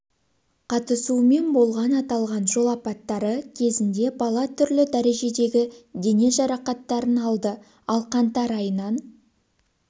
қатысуымен болған аталған жол апаттары кезінде бала түрлі дәрежедегі дене жарақаттарын алды ал қаңтар айынан